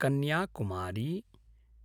Kanyakumari